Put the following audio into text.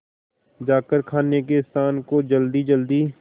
जाकर खाने के स्थान को जल्दीजल्दी